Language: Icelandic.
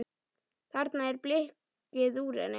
Þarna er blikkið úr henni.